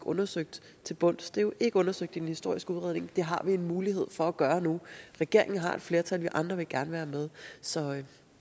undersøgt til bunds det er jo ikke undersøgt i den historiske udredning det har vi en mulighed for at gøre nu regeringen har et flertal vi andre vil gerne være med så